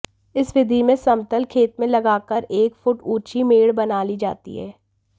इस विधि में समतल खेत में लगाकर एक फुट ऊंची मेड़ बना ली जाती है